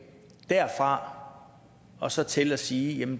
derfra og så til at sige